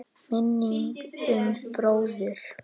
Minning um bróður.